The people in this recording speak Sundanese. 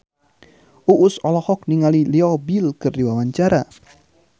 Uus olohok ningali Leo Bill keur diwawancara